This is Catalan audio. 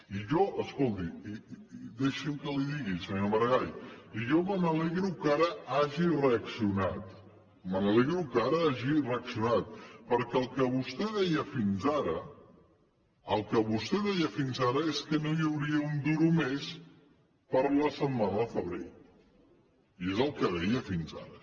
i jo escolti deixi’m que li digui senyor maragall i jo me n’alegro que ara hagi reaccionat me n’alegro que ara hagi reaccionat perquè el que vostè deia fins ara el que vostè deia fins ara és que no hi hauria un duro més per a la setmana de febrer i és el que deia fins ara